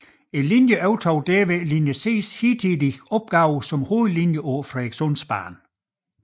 Linjen overtog derved linje Cs hidtidige opgave som hovedlinje på Frederikssundsbanen